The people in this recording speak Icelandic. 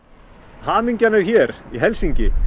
hamingjan er hér í Helsinki